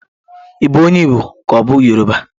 Ị bụ onye Igbo ka ọ bụ Yoruba?